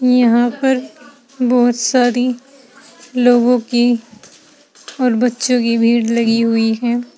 यहां पर बहोत सारी लोगो की और बच्चों की भीड़ लगी हुई है।